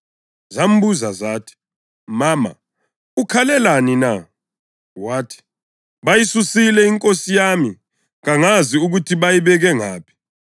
Zambuza zathi, “Mama, ukhalelani na?” Wathi, “Bayisusile iNkosi yami, kangazi ukuthi bayibeke ngaphi.”